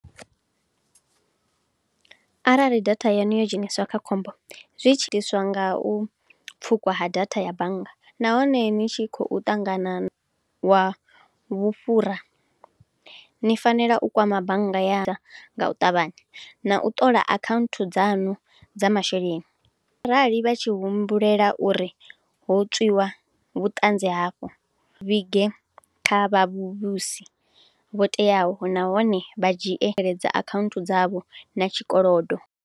Arali data yanu yo dzheniswa kha khombo, zwi tshiliswa nga u pfukwa ha datha ya bannga, nahone ni tshi khou ṱanganiwa vhufhura. Ni fanela u kwama bannga ya nga u ṱavhanya, na u ṱola akhanthu dzanu dza masheleni. Arali vha tshi humbulela uri ho tswiwa vhuṱanzi hafho, vhige kha vhavhusi vho teaho, nahone vha dzhiele akhaunthu dzavho na tshikolodo.